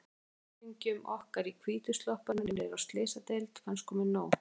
Kunningjum okkar í hvítu sloppunum niðri á Slysadeild fannst komið nóg.